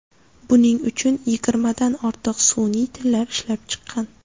Buning uchun yigirmadan ortiq sun’iy tillar ishlab chiqqan.